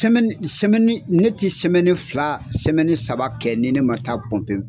ne tɛ fila saba kɛ ni ne ma taa pɔmpe.